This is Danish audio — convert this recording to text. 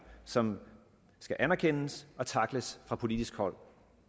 som skal anerkendes og tackles fra politisk hold